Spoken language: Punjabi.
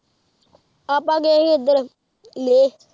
ਆਪਾ ਗਏ ਹੀ ਐਡਰ ਲੇਹ